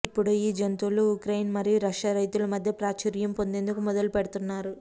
ఇప్పుడు ఈ జంతువులు ఉక్రెయిన్ మరియు రష్యా రైతులు మధ్య ప్రాచుర్యం పొందేందుకు మొదలుపెడుతున్నారు